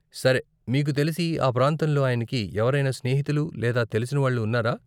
సరే, మీకు తెలిసి ఆ ప్రాంతంలో ఆయనకి ఎవరైనా స్నేహితులు లేదా తెలిసిన వాళ్ళు ఉన్నారా?